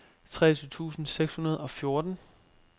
treogtyve tusind seks hundrede og fjorten